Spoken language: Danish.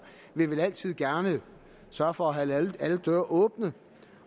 vil vel altid gerne sørge for at holde alle døre åbne